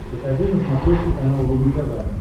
покажи на смотрешке канал рубль тв